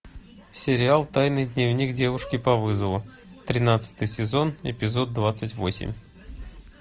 сериал тайный дневник девушки по вызову тринадцатый сезон эпизод двадцать восемь